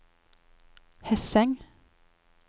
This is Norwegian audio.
Hesseng